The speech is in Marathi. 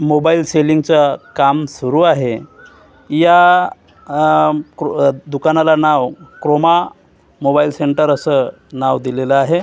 मोबाईल सेलिंगच काम सुरू आहे या दुकानाला नाव क्रोमा मोबाईल सेंटर असं नाव दिलेल आहे.